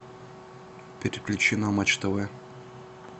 переключи на матч тв